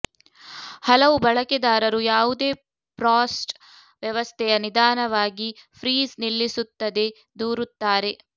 ಹಲವು ಬಳಕೆದಾರರು ಯಾವುದೇ ಫ್ರಾಸ್ಟ್ ವ್ಯವಸ್ಥೆಯ ನಿಧಾನವಾಗಿ ಫ್ರೀಜ್ ನಿಲ್ಲಿಸುತ್ತದೆ ದೂರುತ್ತಾರೆ